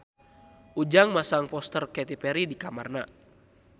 Ujang masang poster Katy Perry di kamarna